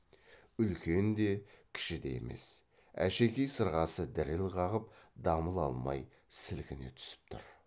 үлкен де кіші де емес әшекей сырғасы діріл қағып дамыл алмай сілкіне түсіп тұр